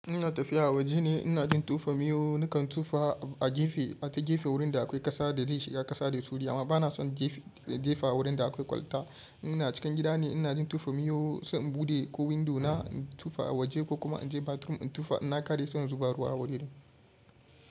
Ina tafiya waje ne ina jin tofa miyau. Nakan tofa a gefe, a ta gefe wurin da akwai kasa da zai shiga kasa da sauri. Amma bana son jefa wurin da akwai kwalta. Ina cikin gida ne ina jin tofa miyau, sai in bude ko windo na in tofa a waje ko kuma in je bathroom in tofa. In na kare sai in zuba ruwa a wuri din.